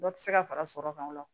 Dɔ tɛ se ka fara sɔrɔ kan o la